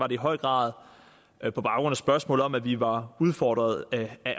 i høj grad på baggrund af spørgsmålet om at vi var udfordret af